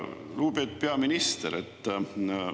Lugupeetud peaminister!